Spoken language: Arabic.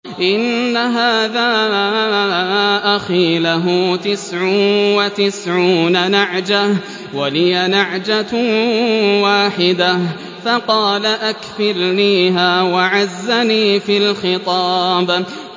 إِنَّ هَٰذَا أَخِي لَهُ تِسْعٌ وَتِسْعُونَ نَعْجَةً وَلِيَ نَعْجَةٌ وَاحِدَةٌ فَقَالَ أَكْفِلْنِيهَا وَعَزَّنِي فِي الْخِطَابِ